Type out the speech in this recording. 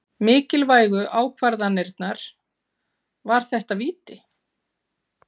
Mikilvægu ákvarðanirnar- var þetta víti?